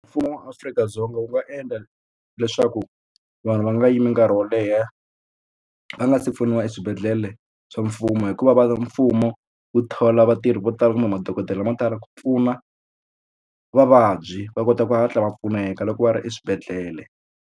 Mfumo wa Afrika-Dzonga wu nga endla leswaku vanhu va nga yimi nkarhi wo leha va nga si pfuniwa eswibedhlele swa mfumo hikuva va mfumo wu thola vatirhi vo tala kumbe madokodela lama tala ku pfuna vavabyi va kota ku hatla va pfuneka loko va ri eswibedhlele.